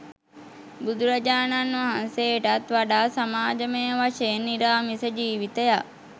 බුදුරජාණන් වහන්සේටත් වඩා සමාජමය වශයෙන් නිරාමිස ජීවිතයක්